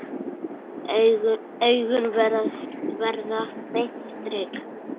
Augun verða beint strik.